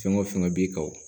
Fɛn o fɛn b'i kan wo